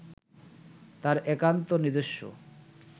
তাঁর একান্ত নিজস্ব